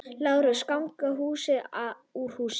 LÁRUS: Ganga hús úr húsi!